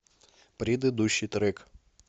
предыдущий трек